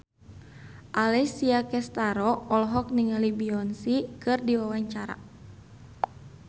Alessia Cestaro olohok ningali Beyonce keur diwawancara